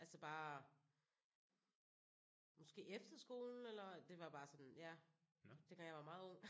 Altså bare måske efterskolen eller? Det var bare sådan ja dengang jeg var meget ung